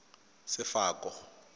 sefako